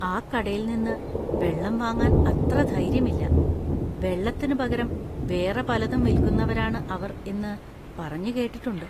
ആ കടയിൽനിന്ന് വെള്ളം വാങ്ങാൻ അത്ര ധൈര്യം ഇല്ല; വെള്ളത്തിന് പകരം വേറെ പലതും വിൽക്കുന്നവരാണ് അവർ എന്ന് പറഞ്ഞ് കേട്ടിട്ടുണ്ട്.